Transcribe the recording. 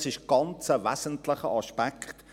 Dies ist ein ganz wesentlicher Aspekt.